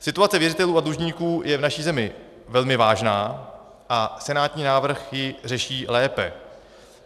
Situace věřitelů a dlužníků je v naší zemi velmi vážná a senátní návrh ji řeší lépe.